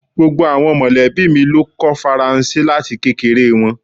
Gbogbo awọn mọlẹbi mi lo kọ́ Faransé lati kekere wọn